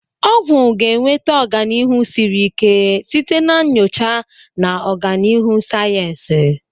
Ọgwụ ga-enweta ọganihu siri ike site na nyocha na ọganihu sayensị.